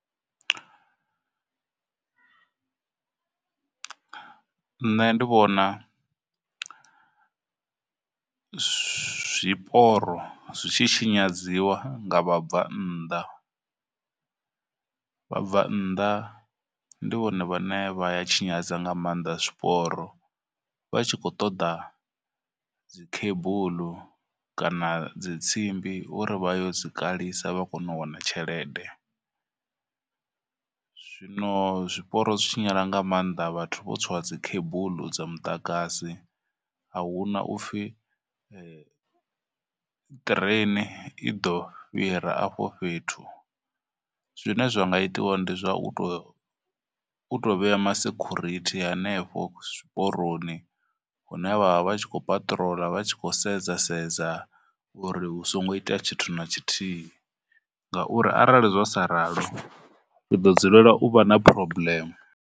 Nṋe ndi vhona zwiporo zwi tshi tshinyadziwa nga vhabvannḓa, vhabvannḓa ndi vhone vha ne vha ya tshinyadza nga maanḓa zwiporo vha tshi khou ṱoḓa dzi cable, kana dzitsimbi uri vha yo dzi kalisa vha kone u wana tshelede. Zwino zwiporo zwi tshinyala nga maanḓa vhathu vho tswa cable dza muḓagasi, ahuna upfhi ṱireni i ḓo fhira afho fhethu, zwine zwa nga itiwa ndi zwa u tou, u tou vhea ma security henefho tshiporoni hune vha vha vha tshi khou paṱirola vha tshi khou sedza sedza uri hu songo itea tshithu na tshithihi, ngauri arali zwa sa ralo ri ḓo dzulela u vha na problem.